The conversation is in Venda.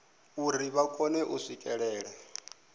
uri vha kone u swikelela